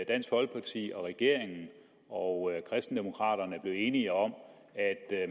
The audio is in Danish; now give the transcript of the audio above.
dansk folkeparti regeringen og kristendemokraterne blev enige om at